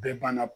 Bɛɛ banna